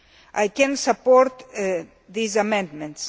I can support these amendments.